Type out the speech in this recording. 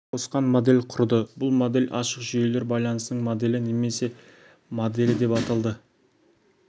қосқан модель құрды бұл модель ашық жүйелер байланысының моделі немесе моделі деп аталды